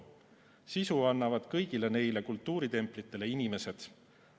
Sisu annavad kõigile neile kultuuritemplitele inimesed.